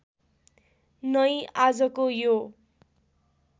नै आजको यो